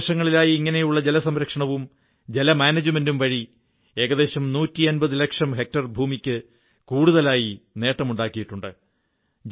കഴിഞ്ഞ മൂന്നുവർഷങ്ങളിലായി ഇങ്ങനെയുള്ള ജലസംരക്ഷണവും ജലമാനേജ്മെന്റും വഴി ഏകദേശം 150 ലക്ഷം ഹെക്ടർ ഭൂമിക്ക് കൂടുതലായി നേട്ടമുണ്ടാക്കിയിട്ടുണ്ട്